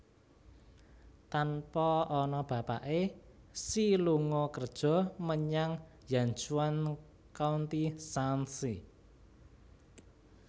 Tanpa ana bapake Xi lunga kerja menyang Yanchuan County Shaanxi